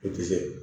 I tɛ se